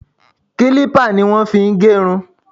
Kílípà ni wọ́n máa fi ń gẹ irun